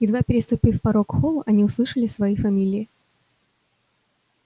едва переступив порог холла они услышали свои фамилии